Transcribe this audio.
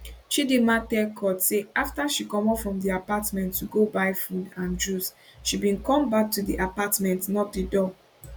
chidinma tell court say afta she comot from di apartment to go buy food and juice she bin comeback to di apartment knock di door